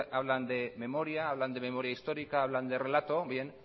hablan de memoria hablan de memoria histórica hablan de relato bien